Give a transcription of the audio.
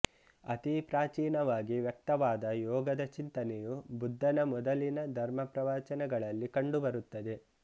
ಅತಿ ಪ್ರಾಚೀನವಾಗಿ ವ್ಯಕ್ತವಾದ ಯೋಗದ ಚಿಂತನೆಯು ಬುದ್ಧನ ಮೊದಲಿನ ಧರ್ಮಪ್ರವಚನಗಳಲ್ಲಿ ಕಂಡುಬರುತ್ತದೆ